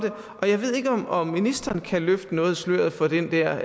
det jeg ved ikke om om ministeren kan løfte noget af sløret for den der